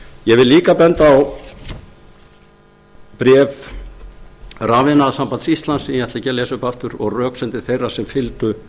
ég vil líka benda á bréf rafiðnaðarsambands íslands sem ég ætla ekki að lesa upp aftur og röksemdir þeirra sem fylgdu